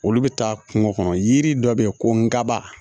Olu bɛ taa kungo kɔnɔ yiri dɔ bɛ yen ko ngaba